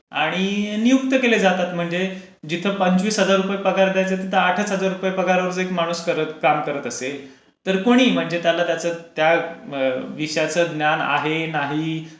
आणि नियुक्त केले जातात. जिथे पंचवीस हजार रुपये पगार द्यायचा तिथे आठ हजार रुपये पगार मध्ये काम करत असेल तरी कोणीही म्हणजे त्याला त्याचं त्या विषयाच ज्ञान आहे, नाही,